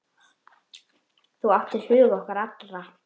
Þú áttir hug okkar allra.